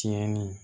Tiɲɛni